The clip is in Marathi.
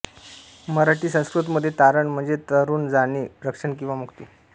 मराठीसंस्कृृतमध्ये तारण म्हणजे तरून जाणे रक्षण किंवा मुक्ती